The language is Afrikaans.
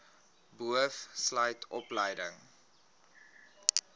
boov sluit opleiding